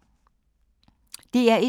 DR1